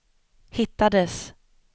hittades